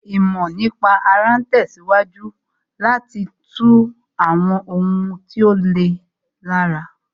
Ìmọ̀ nípa ara ń tẹ̀síwájú láti tú àwọn ohun tí ó le lára